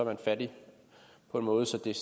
man fattig på en måde så det